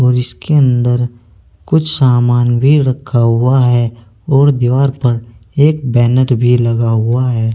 और इसके अंदर कुछ सामान भी रखा हुआ है और दीवार पर एक बैनर भी लगा हुआ है।